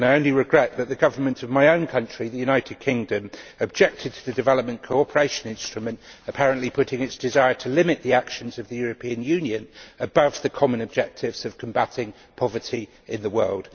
I only regret that the government of my own country, the United Kingdom, objected to the Development Cooperation Instrument, apparently putting its desire to limit the actions of the European Union above the common objectives of combating poverty in the world.